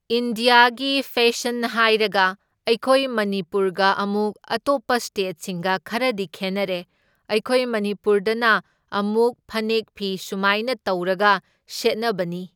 ꯏꯟꯗ꯭ꯌꯥꯒꯤ ꯐꯦꯁꯟ ꯍꯥꯏꯔꯒ ꯑꯩꯈꯣꯏ ꯃꯅꯤꯄꯨꯔꯒ ꯑꯃꯨꯛ ꯑꯇꯣꯞꯄ ꯁ꯭ꯇꯦꯠꯁꯤꯡꯒ ꯈꯔꯗꯤ ꯈꯦꯟꯅꯔꯦ, ꯑꯩꯈꯣꯏ ꯃꯅꯤꯄꯨꯔꯗꯅ ꯑꯃꯨꯛ ꯐꯅꯦꯛ ꯐꯤ ꯁꯨꯃꯥꯏꯅ ꯇꯧꯔꯒ ꯁꯦꯠꯅꯕꯅꯤ꯫